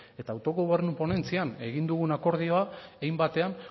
eta autogobernu ponentzian egin dugun akordioa hein batean